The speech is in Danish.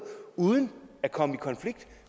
uden at komme i konflikt